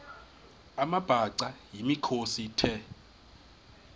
amabhaca yimikhosi the